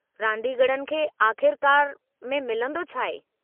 रादींगरनि खे आख़िरकारु में मिलंदो छा आहे?